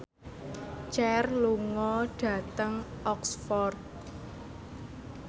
Cher lunga dhateng Oxford